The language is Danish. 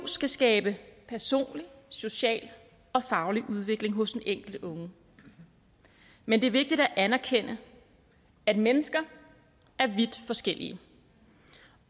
skal skabe personlig social og faglig udvikling hos den enkelte unge men det er vigtigt at anerkende at mennesker er vidt forskellige